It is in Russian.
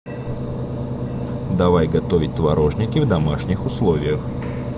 давай готовить творожники в домашних условиях